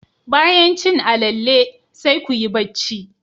Bayan cin alalle, sai kuyi bacci.